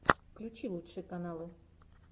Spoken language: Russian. включи лучшие каналы